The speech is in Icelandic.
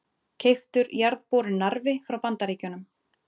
Keyptur jarðborinn Narfi frá Bandaríkjunum.